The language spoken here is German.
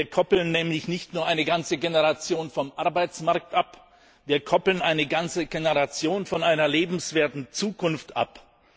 Wir koppeln nämlich nicht nur eine ganze Generation vom Arbeitsmarkt ab, wir koppeln eine ganze Generation von einer lebenswerten Zukunft ab.